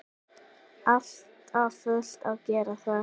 Alltaf fullt að gera þar!